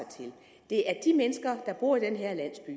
det er de mennesker der bor i den her landsby